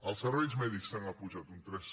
els serveis mèdics s’han apujat un tres